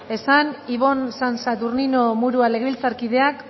esan ibon san saturnino murua legebiltzarkideak